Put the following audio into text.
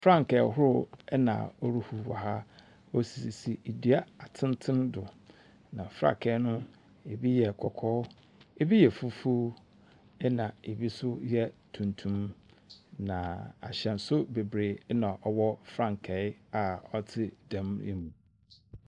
Frankaa ahorow na ɛrehuw wɔ ha. Osisi nnua atenten do. Na frankaa no ebi yɛ kɔkɔɔ, ebi yɛ fufuw, ɛna ebi nso yɛ tuntum. Na ahyɛnso bebiree na ɔwɔ frankaa a ɔte dɛm yi mu.